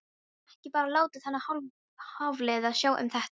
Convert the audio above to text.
Geturðu ekki bara látið þennan Hafliða sjá um þetta?